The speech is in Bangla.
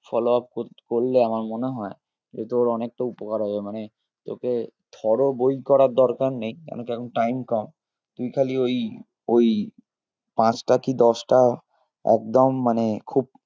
Follow up কর~করলে আমার মনে হয় যে তোর অনেকটা উপকার হবে মানে তোকে থ্রো বই করার দরকার নেই কেন কি এখন time কম তুই খালি ওই ওই পাঁচটা কি দশটা একদম মানে খুব